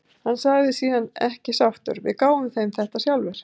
Hann sagði síðan ekki sáttur: Við gáfum þeim þetta sjálfir.